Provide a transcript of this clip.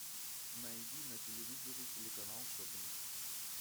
найди на телевизоре телеканал шоппинг